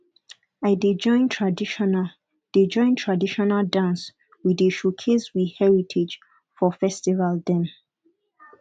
i dey join traditional dey join traditional dance we dey showcase we heritage for festival dem